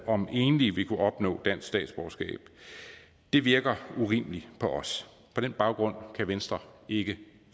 om enlige vil kunne opnå dansk statsborgerskab det virker urimeligt på os på den baggrund kan venstre ikke